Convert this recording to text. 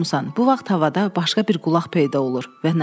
Bu vaxt havada başqa bir qulaq peyda olur